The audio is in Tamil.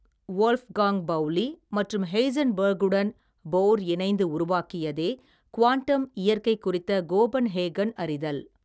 வோல்ப்காங்க் பவுலி மற்றும் ஹெய்ஸன்பர்க்குடன் போர் இணைந்து உருவாக்கியதே க்வாண்டம் இயற்கை குறித்த கோபன்ஹேகன் அறிதல்.